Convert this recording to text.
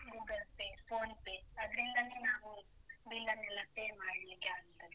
Google Pay, PhonePe ಅದ್ರಿಂದಾನೇ ನಾವು bill ನ್ನೆಲ್ಲ pay ಮಾಡ್ಲಿಕ್ಕೆ ಆಗ್ತದೆ.